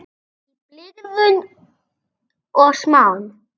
Í blygðun og smán.